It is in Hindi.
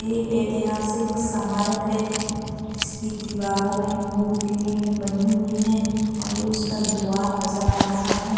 ये एतिहासिक सामारक है। जिसकी दीवारों में मूर्तिए बनी हुई है। और ये उसका द्वार नजर आ रहा है।